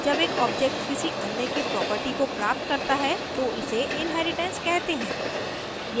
जब एक object किसी अन्य की property को प्राप्त करता है तो इसे inheritance कहते हैं